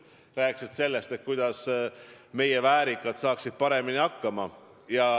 On räägitud sellest, kuidas meie väärikad saaksid paremini hakkama.